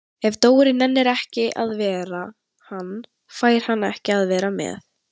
Ef Dóri nennir ekki að vera hann, fær hann ekki að vera með